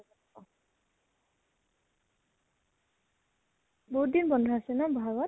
বহুত দিন বন্ধ আছে ন, বহাগত